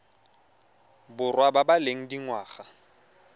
borwa ba ba leng dingwaga